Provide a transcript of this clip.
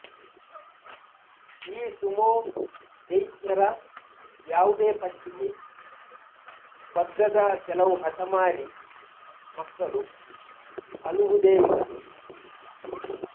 ಈ ಸುಮೋ ದೈತ್ಯರ ಯಾವುದೇ ಪಟ್ಟಿಗೆ ಬಗ್ಗದ ಕೆಲವು ಹಠಮಾರಿ ಮಕ್ಕಳು ಅಳುವುದೇ ಇಲ್ಲ